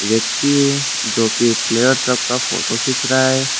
व्यक्ति जो की प्लेयर सबका फोटो खींच रहा है।